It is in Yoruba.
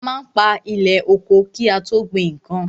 A má ń pa ilẹ̀ oko ki a tó gbin nnkan.